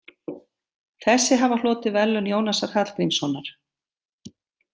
Þessi hafa hlotið Verðlaun Jónasar Hallgrímssonar.